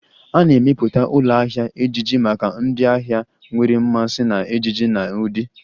A na-emepụta ụlọ ahịa ejiji maka ndị ahịa nwere mmasị na ejiji na ụdị